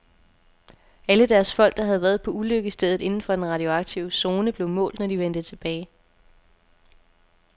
Alle deres folk, der havde været på ulykkesstedet inden for den radioaktive zone, blev målt, når de vendte tilbage.